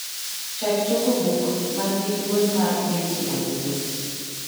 chak tugo buk man gi duol mar beauty and the beast